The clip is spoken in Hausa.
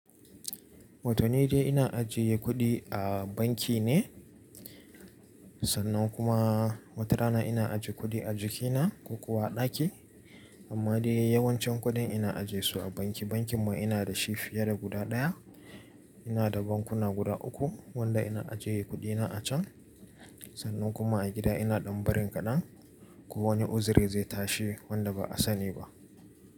Wata ni dai ina ajiye kuɗi a banki ne, sannan kuma wata rana ina ajiye kuɗi a jikina ko kuwa a ɗaki. Amma dai yawancin kuɗin ina ajiye su a banki. Bankin ma ina dashi fiye da guda ɗaya. Ina da bankuna guda uku wanda ina ajiye kuɗina a can. Sannan kuma a gida ina ɗan barin kaɗan. Ko wani uzuri zai tashi wanda ba a sani ba.